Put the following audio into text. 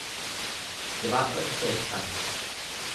Dva odstotka.